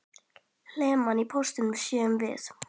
Hlemm á potti sáum vér.